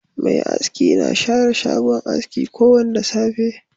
Mai aski na share shagon aski ko Wanda safe.